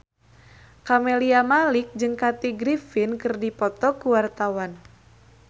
Camelia Malik jeung Kathy Griffin keur dipoto ku wartawan